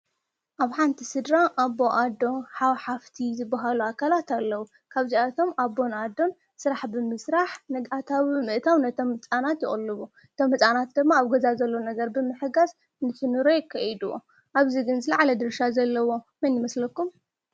አብ ሓንቲ ስድራ አቦ፣ አዶ ፣ሓው ፣ሓፍቲ ዝበሃሉ አካላት አለው። ካብዚአቶም አቦን አዶን ስራሕ ብምስራሕ እታዊ ብምእታው ነቶም ህፃውንቲ ይቅልቡ ።እቶም ህፃውንቲ ድማ አብ ገዛ ዘሎ ነገር ብምሕጋዝ ነቲ ኑሮ የካይድዎ። ኣብዚ ግን ዝለዓለ ድርሻ ዘለዎ መን ይመስለኩም ?